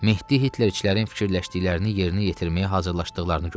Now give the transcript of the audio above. Mehdi Hitlerçilərin fikirləşdiklərini yerinə yetirməyə hazırlaşdıqlarını gördü.